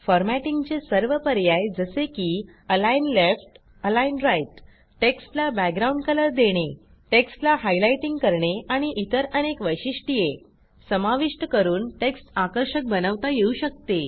फॉरमॅटिंगचे सर्व पर्याय जसे की अलिग्न लेफ्ट अलिग्न राइट टेक्स्टला बॅकग्राउंड Colorदेणे टेक्स्टला हायलाइटिंग करणे आणि इतर अनेक वैशिष्ट्ये समाविष्ट करून टेक्स्ट आकर्षक बनवता येऊ शकते